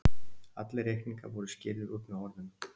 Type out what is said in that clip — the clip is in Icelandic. Allir reikningar voru skýrðir út með orðum.